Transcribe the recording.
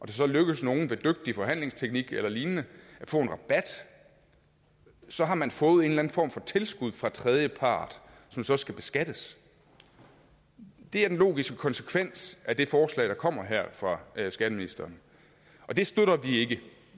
det så lykkes nogle ved dygtig forhandlingsteknik eller lignende at få rabat så har man fået en form for tilskud fra tredjepart som så skal beskattes det er den logiske konsekvens af det forslag der kommer her fra skatteministeren og det støtter vi ikke